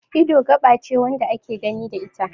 Ido gaba ce wanda ake gani da ita